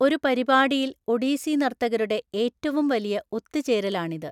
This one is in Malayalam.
ഒരു പരിപാടിയിൽ ഒഡീസി നർത്തകരുടെ ഏറ്റവും വലിയ ഒത്തുചേരലാണിത്.